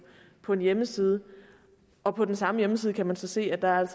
på en hjemmeside og på den samme hjemmeside kan man så se at der er